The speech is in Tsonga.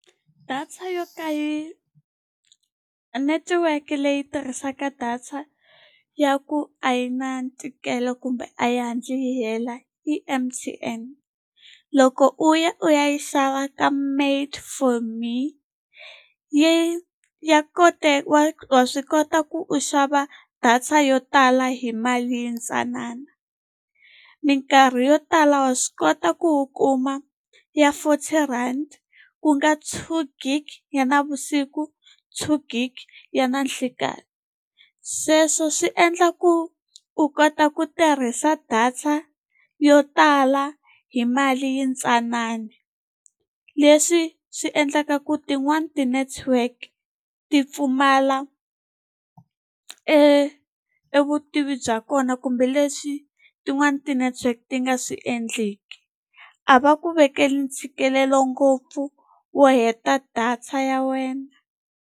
Data yo netiweke leyi tirhisaka data ya ku a yi na ntikelo kumbe a yi hatli yi hela i M_T_N. Loko u ya u ya yi xava ka made for me, yi ya wa wa swi kota ku u xava data yo tala hi mali yintsanana. Mikarhi yo tala wa swi kota ku u kuma ya forty rand, ku nga two gig ya navusiku two gig ya nanhlikani. Sweswo swi endla ku u kota ku tirhisa data yo tala hi mali yintsanana. Leswi swi endlaka ku tin'wani ti-network ti pfumala e evutivi bya kona kumbe leswi tin'wani ti-network ti nga swi endleki. A va ku vekeli ntshikelelo ngopfu wo heta data ya wena.